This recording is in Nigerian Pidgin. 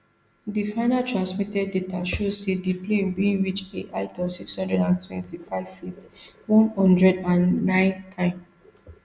di final transmitted data show say di plane bin reach a height of six hundred and twenty-fiveft one hundred and ninetym